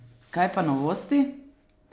Kaj pa novosti?